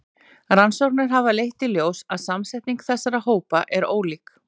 Rannsóknir hafa leitt í ljós að samsetning þessara hópa er ólík.